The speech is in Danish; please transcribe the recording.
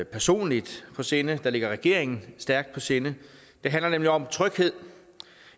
personligt på sinde og som ligger regeringen stærkt på sinde det handler nemlig om tryghed